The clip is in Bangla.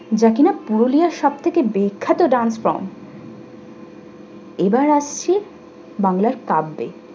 যা কিনা পুরুলিয়া সব থেকে বিখ্যাত dance form এবার আসছি বাংলার কাব্যে।